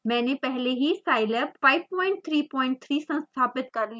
मैंने पहले ही scilab 533 संस्थापित कर लिया है